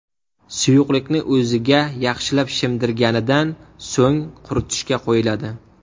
Suyuqlikni o‘ziga yaxshilab shimdirganidan so‘ng quritishga qo‘yiladi.